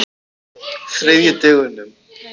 þriðjudögunum